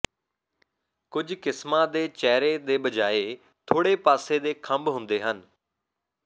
ਕੁਝ ਕਿਸਮਾਂ ਦੇ ਚਿਹਰੇ ਦੇ ਬਜਾਏ ਥੋੜੇ ਪਾਸੇ ਦੇ ਖੰਭ ਹੁੰਦੇ ਹਨ